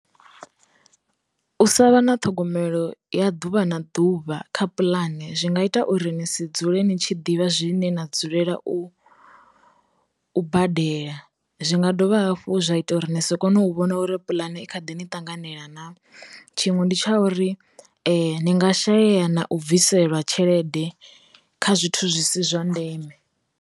U sa vha na ṱhogomelo ya ḓuvha na ḓuvha kha puḽani zwi nga ita uri ni si dzule ni tshi ḓivha zwine na dzulela u u badela, zwi nga dovha hafhu zwa ita uri ni so kona u vhona uri pulane i kha ḓi ni tanganela na, tshiṅwe ndi tsha uri ni nga shayeya na u bviselwa tshelede kha zwithu zwi si zwa ndeme.